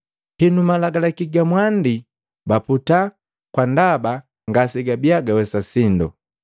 Henu malagalaki ga mwandi baputaa kwa ndaba ngasejabia jiwesa sindo.